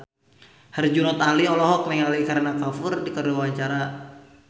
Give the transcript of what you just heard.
Herjunot Ali olohok ningali Kareena Kapoor keur diwawancara